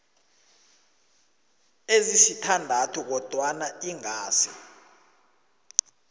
ezisithandathu kodwana ingasi